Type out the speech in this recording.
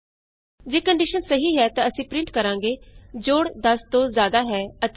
ਜੇ ਕੰਡੀਸ਼ਨ ਸਹੀ ਹੈ ਤਾਂ ਅਸੀਂ ਪਰਿੰਟ ਕਰਾਂਗੇ ਜੋੜ 10 ਤੋਂ ਜਿਆਦਾ ਹੈ ਅਤੇ 20 ਤੋਂ ਘਟ ਹੈ